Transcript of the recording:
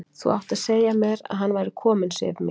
Þú áttir að segja mér að hann væri kominn, Sif mín!